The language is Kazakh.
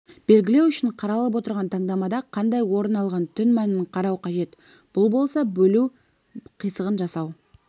белгілеу үшін қаралып отырған таңдамада қандай орын алған түн мәнін қарау қажет бұл болса бөлу қисығын жасау